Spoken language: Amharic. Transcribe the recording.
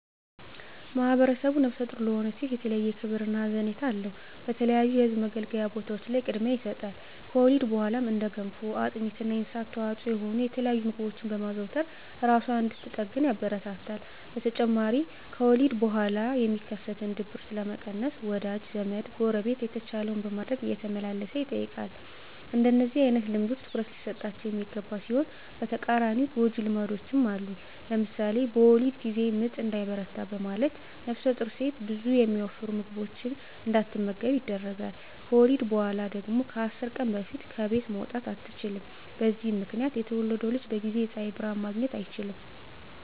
ማህብረሰቡ ነፍሰ ጡር ለሆነች ሴት የተለየ ክብር እና ሀዘኔታ አለው። በተለያዩ የህዝብ መገልገያ ቦታዎች ላይ ቅድሚያ ይሰጣል። ከወሊድ በኋላም እንደ ገንፎ፣ አጥሚት እና የእንስሳት ተዋፅዖ የሆኑ የተለያዩ ምግቦችን በማዘውተር እራሷን እንድትጠግን ያበረታታል። በተጨማሪም ከወሊድ በኋላ የሚከሰትን ድብርት ለመቀነስ ወዳጅ ዘመ፣ ጎረቤት የተቻለውን በማድረግ እየተመላለሰ ይጠይቃል። እንደነዚህ አይነት ልምዶች ትኩረት ሊሰጣቸው የሚገባ ሲሆን በተቃራኒው ጎጅ ልማዶችም አሉ። ለምሳሌ በወሊድ ጊዜ ምጥ እንዳይበረታ በማለት ነፍሰጡር ሴት ብዙ የሚያወፍሩ ምግቦችን እንዳትመገብ ይደረጋል። ከወሊድ በኋላ ደግሞ ከ10 ቀን በፊት ከቤት መውጣት አትችልም። በዚህ ምክንያት የተወለደው ልጅ በጊዜ የፀሀይ ብርሀን ማግኘት አይችልም።